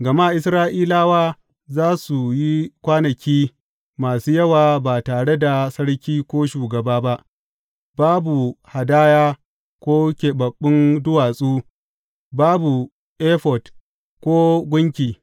Gama Isra’ilawa za su yi kwanaki masu yawa ba tare da sarki ko shugaba ba, babu hadaya ko keɓaɓɓun duwatsu, babu efod ko gunki.